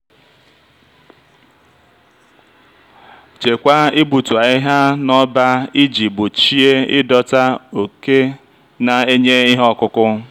chekwaa igbutu ahihia n'ọba iji gbochie ịdọta òké na-enye ihe ọkụkụ.